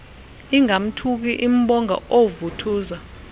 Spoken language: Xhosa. ingamthuki imbonga oovuthuza